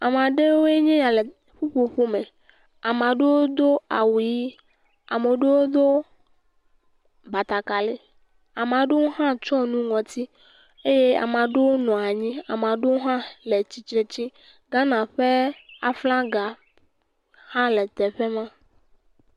Ame aɖewoe nye ya le ƒuƒoƒo me, ame aɖewo do awu ʋi, ame aɖewo do batakari, ame aɖewo hã tsɔ nu ŋɔti eye ame aɖewo nɔ anyi, ame aɖewo hã le tsitre tsi. Ghana ƒe flaga hã le teƒe ma.